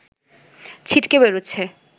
ছিটকে বেরোচ্ছে